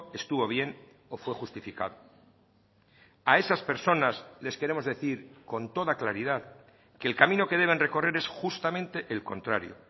estuvo bien o fue justificado a esas personas les queremos decir con toda claridad que el camino que deben recorrer es justamente el contrario